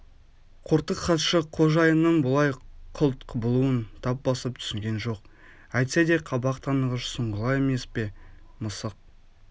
қортық хатшы қожайынның бұлай қылт құбылуын тап басып түсінген жоқ әйтсе де қабақ танығыш сұңғыла емес пе мысық